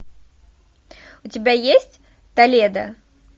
у тебя есть толедо